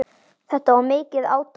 Þetta var mikið átak.